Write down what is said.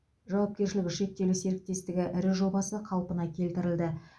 жауапкершілігі шектеулі серіктестігі ірі жобасы қалпына келтірілді